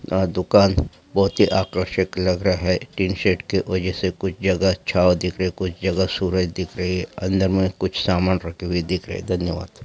आ दुकान बहुत ही आकर्षिक लग रहा है टिन शेड के वजह से कुछ जगह अच्छा ओ दिख रहे कुछ जगह सूरज दिख रही है अंदर में कुछ सामान रखे हुए दिख रहे धन्यवाद।